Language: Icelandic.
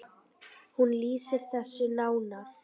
Hún lýsir þessu nánar.